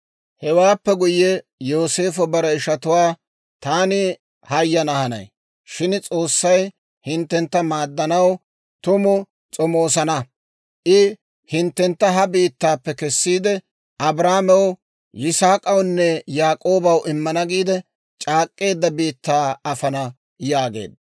Hewaappe guyye Yooseefo bare ishatuwaa, «Taani hayana hanay; shin S'oossay hinttentta maaddanaw tumu s'omoosana; I hinttentta ha biittaappe kessiide, Abrahaamew, Yisaak'awunne Yaak'oobaw immana giide c'aak'k'eedda biittaa afana» yaageedda.